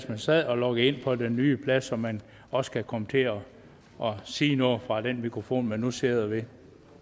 man sad og logget ind på den nye plads så man også kan komme til at sige noget fra den mikrofon man nu sidder ved